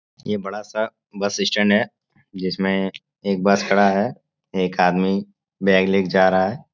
ये बड़ा सा बस स्टैंड है जिसमें एक बस खड़ा है। एक आदमी बैग ले के जा रहा है।